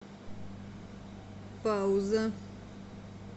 пауза